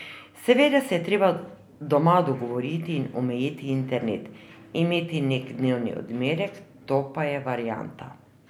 Seveda se je treba doma dogovoriti in omejiti internet, imeti neki dnevni odmerek, to pa je varianta.